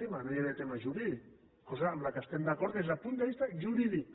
tema no hi havia tema jurídic cosa en què estem d’acord des del punt de vista jurídic